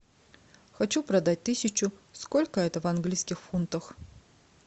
хочу продать тысячу сколько это в английских фунтах